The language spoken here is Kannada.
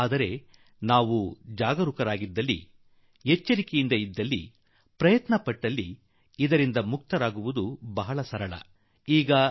ಆದರೆ ನಾವು ಎಚ್ಚರದಿಂದಿದ್ದರೆ ಜಾಗರೂಕರಾಗಿದ್ದರೆ ಪ್ರಯತ್ನಶೀಲರಾಗಿದ್ದರೆ ಇದರಿಂದ ಪಾರಾಗಿ ಉಳಿಯುವ ಮಾರ್ಗವೂ ಬಹಳ ಸುಲಭ